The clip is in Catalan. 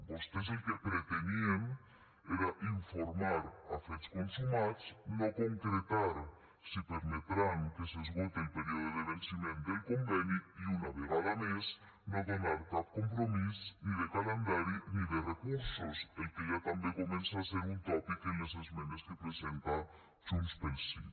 vostès el que pretenien era informar a fets consumats no concretar si permetran que s’esgote el període de venciment del conveni i una vegada més no donar cap compromís ni de calendari ni de recursos el que ja també comença a ser un tòpic en les esmenes que presenta junts pel sí